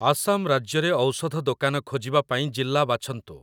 ଆସାମ ରାଜ୍ୟରେ ଔଷଧ ଦୋକାନ ଖୋଜିବା ପାଇଁ ଜିଲ୍ଲା ବାଛନ୍ତୁ ।